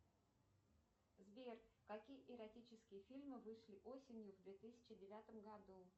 сбер какие эротические фильмы вышли осенью в две тысячи девятом году